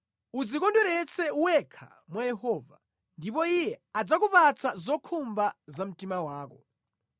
Udzikondweretse wekha mwa Yehova ndipo Iye adzakupatsa zokhumba za mtima wako.